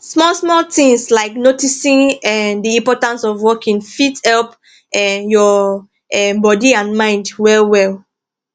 small small things like noticing um the importance of walking fit help um your um body and mind well well